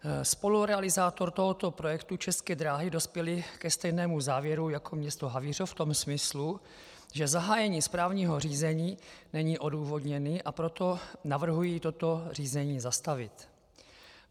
Spolurealizátor tohoto projektu, České dráhy, dospěl ke stejnému závěru jako město Havířov v tom smyslu, že zahájení správního řízení není odůvodněné, a proto navrhuje toto řízení zastavit.